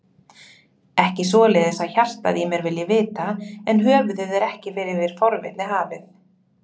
Ekki svoleiðis að hjartað í mér vilji vita, en höfuðið er ekki yfir forvitni hafið.